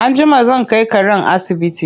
Anjima zan kai karen asibiti.